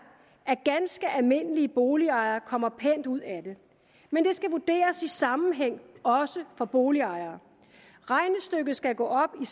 at ganske almindelige boligejere kommer pænt ud af det men det skal vurderes i sammenhæng også for boligejere regnestykket skal gå op